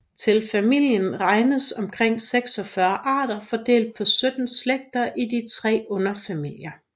Til familien regnes omkring 46 arter fordelt på 17 slægter i tre underfamilier